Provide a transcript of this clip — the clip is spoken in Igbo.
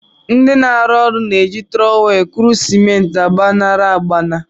Ndị na-arụ ụlọ na-eji trọwel ekuru simenti agbaṅara agbaṅa.